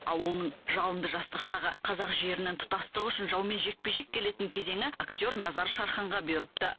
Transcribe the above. ал оның жалынды жастық шағы қазақ жерінің тұтастығы үшін жаумен жекпе жек келетін кезеңі актер назар шарханға бұйырыпты